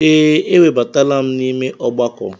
Ee, ewebatala m n'ime ọgbakọ.